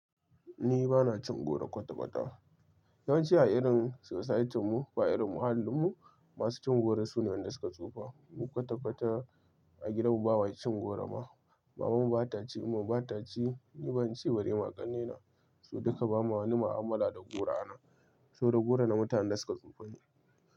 Ni bana cin goro kwata-kwata. Yawanci a irin society mu ba irin muhallinmu, masu cin goro su ne waɗanda suka tsufa. Mu kwata-kwata a gidanmu bama cin goro ma. Maman mu ba ta ci, Umma bata ci, ni ban ci ba ballw ma ƙannena. Mu duka ba ma wani mu'amala da goro a nan. So da goro na mutanen da suka tsufa ne.